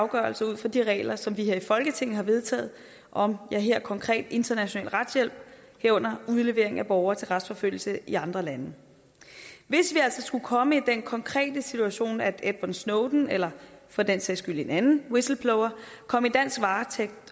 afgørelser ud fra de regler som vi her i folketinget har vedtaget om ja her konkret international retshjælp herunder udlevering af borgere til retsforfølgelse i andre lande hvis vi altså skulle komme i den konkrete situation at edward snowden eller for den sags skyld en anden whistleblower kom i dansk varetægt